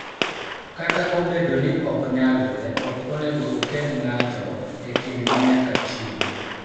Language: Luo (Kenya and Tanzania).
Kata obedo ni ok nyalre, ok onego okel ng�ato e kindgi nyaka chieng�